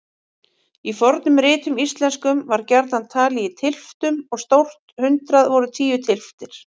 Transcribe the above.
Í fornum ritum íslenskum var gjarnan talið í tylftum og stórt hundrað voru tíu tylftir.